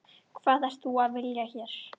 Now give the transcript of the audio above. Hvað ert þú að vilja hér?